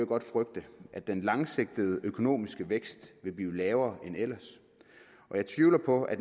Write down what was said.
godt frygte at den langsigtede økonomiske vækst vil blive lavere end ellers og jeg tvivler på at